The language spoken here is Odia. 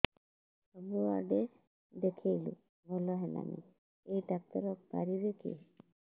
ସବୁଆଡେ ଦେଖେଇଲୁ ଭଲ ହେଲାନି ଏଇ ଡ଼ାକ୍ତର ପାରିବେ କି